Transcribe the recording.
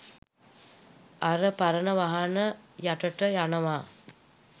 අර පරණ වාහන යටට යනවා